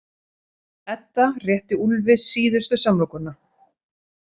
Edda rétti Úlfi síðustu samlokuna.